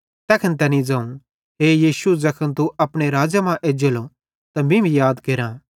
तैखन तैनी ज़ोवं हे यीशु ज़ैखन तू अपने राज़्ज़े मां एज्जेलो त मीं भी याद केरां